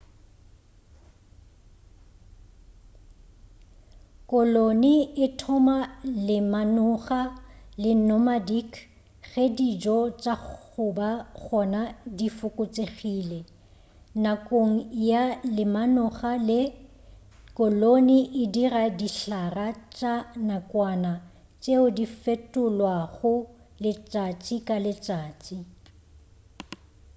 koloni e thoma lemanoga la nomadic ge dijo tša goba gona di fokotšegile nakong ya lemanoga le koloni e dira dihlara tša nakwana tšeo di fetolwago letšatši ka letšatši